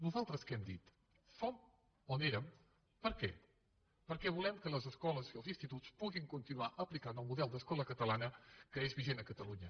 nosaltres què hem dit som on érem per què perquè volem que les escoles i els instituts puguin continuar aplicant el model d’escola catalana que és vigent a catalunya